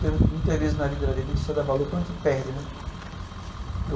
Porque muitas vezes na vida da gente, a gente só dá valor quando a gente perde, né?